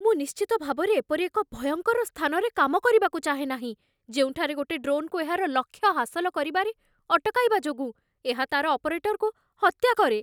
ମୁଁ ନିଶ୍ଚିତ ଭାବରେ ଏପରି ଏକ ଭୟଙ୍କର ସ୍ଥାନରେ କାମ କରିବାକୁ ଚାହେଁ ନାହିଁ ଯେଉଁଠାରେ ଗୋଟେ ଡ୍ରୋନ୍‌କୁ ଏହାର ଲକ୍ଷ୍ୟ ହାସଲ କରିବାରେ ଅଟକାଇବା ଯୋଗୁଁ ଏହା ତା'ର ଅପରେଟରକୁ ହତ୍ୟା କରେ।